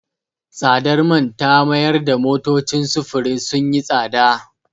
Tsadar man ta mayar da motocin sufurin sun yi tsada.